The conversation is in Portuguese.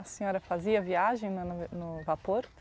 A senhora fazia viagem no no no vapor?